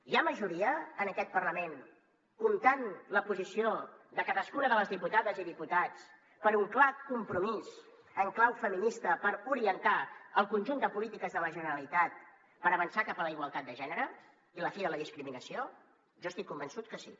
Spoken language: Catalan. hi ha majoria en aquest parlament comptant la posició de cadascuna de les diputades i diputats per un clar compromís en clau feminista per orientar el conjunt de polítiques de la generalitat per avançar cap a la igualtat de gènere i la fi de la discriminació jo estic convençut que sí